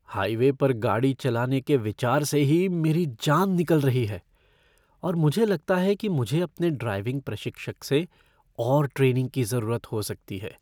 Highway पर गाड़ी चलाने के विचार से ही मेरी जान निकल रही है और मुझे लगता है कि मुझे अपने ड्राइविंग प्रशिक्षक से और ट्रेनिंग की ज़रूरत हो सकती है।